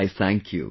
I thank you